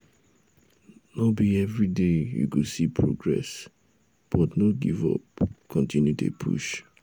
no be everyday you go see progress but no give up continue dey push